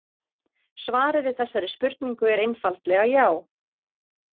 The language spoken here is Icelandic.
Svarið við þessari spurningu er einfaldlega já.